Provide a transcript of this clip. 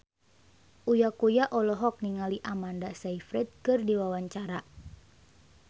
Uya Kuya olohok ningali Amanda Sayfried keur diwawancara